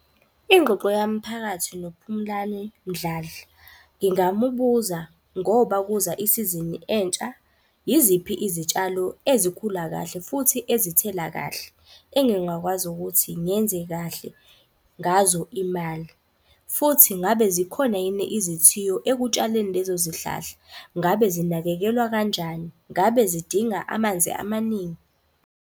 Ingxoxo yami phakathi noPhumlane Mdladla ngingamubuza ngoba kuza isizini entsha. Yiziphi izitshalo ezikhula kahle futhi ezithela kahle, engingakwazi ukuthi ngenze kahle ngazo imali. Futhi ngabe zikhona yini izithiyo ekutshaleni lezo zihlahla? Ngabe zinakekelwa kanjani? Ngabe zidinga amanzi amaningi?